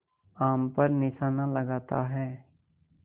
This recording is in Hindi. आम पर निशाना लगाता है